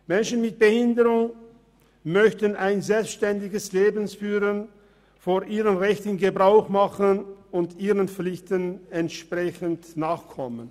Menschen mit einer Behinderung möchten ein selbstständiges Leben führen, von ihren Rechten Gebrauch machen und ihren Pflichten entsprechend nachkommen.